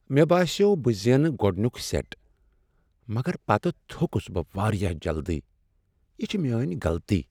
مےٚ باسیو بہٕ زینہٕ گوٚڈنیک سیٹ، مگر پتہٕ تھوکُس بہٕ واریاہ جلدی۔ یہ چھ میٲنۍ غلطی۔